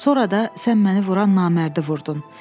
Sonra da sən məni vuran namərdi vurdun.